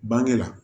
Bange la